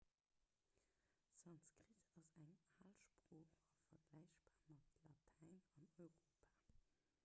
sanskrit ass eng al sprooch a vergläichbar mat latäin an europa